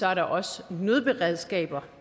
er der også nødberedskaber